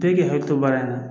Bɛɛ k'i hakili to baara in na